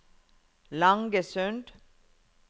Langesund